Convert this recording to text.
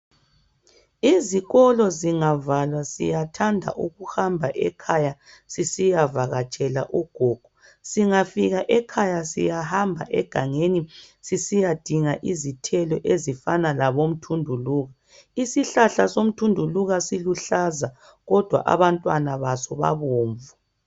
Izikolo zingavalwa siyathanda ukuhamba ekhaya sisiyavakatshela ugogo. Singafika ekhaya siyahamba egangeni sisiyadinga izithelo ezifana labomthunduluka. Isihlahla somthunduluka siluhlaza kodwa abantwana baso babomvu.